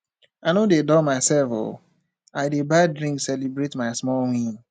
i no dey dull mysef o i dey buy drink celebrate my small win